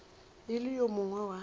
e le yo mongwe wa